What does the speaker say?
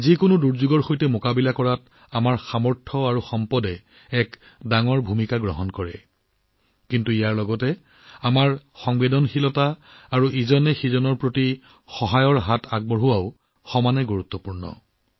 যিকোনো ধৰণৰ দুৰ্যোগ প্ৰশমনত আমাৰ সামৰ্থ্য আৰু সম্পদৰ ভূমিকা অধিককিন্তু ইয়াৰ সমান্তৰালভাৱে আমাৰ সংবেদনশীলতা আৰু এজনে আনজনক হাতে হাত ধৰাটো সিমানেই গুৰুত্বপূৰ্ণ